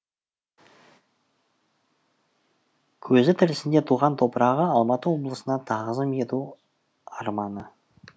көзі тірісінде туған топырағы алматы облысына тағзым ету арманы